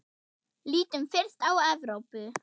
Lítum fyrst á Evrópu.